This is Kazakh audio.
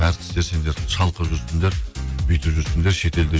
әртістер сендер шалқып жүрсіңдер бүйтіп жүрсіңдер шетелде